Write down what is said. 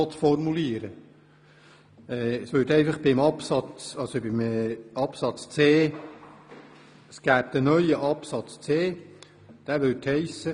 Es würde ein neuer Buchstabe c eingefügt, welcher wie folgt lauten würde: